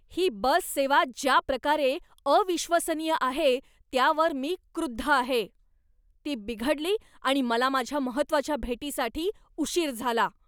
ही bus सेवा ज्या प्रकारे अविश्वसनीय आहे त्यावर मी क्रुद्ध आहे. ती बिघडली, आणि मला माझ्या महत्त्वाच्या भेटीसाठी उशीर झाला.